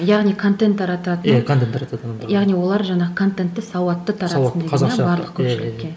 яғни контент тарататын ия контент тарататын яғни олар жаңағы контентті сауатты таратсын деген иә барлық көпшілікке